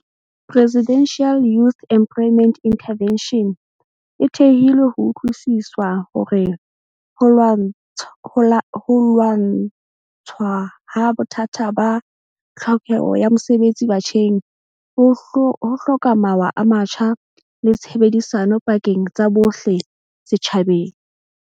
Presidential Youth Emplo yment Intervention e thehilwe ho utlwisiswa hore ho lwa ntshwaha bothata ba tlhoke ho ya mosebetsi batjheng ho hloka mawa a matjha le tshebedisano pakeng tsa bohle setjhabeng.